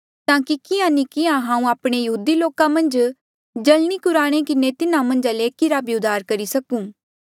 ताकि किहाँ नी किहाँ हांऊँ आपणे यहूदी लोका मन्झ जल्नी कुराई किन्हें तिन्हा मन्झा ले एकी रा भी उद्धार करी सकूं